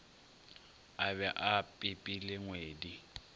a be a pipile ngwedi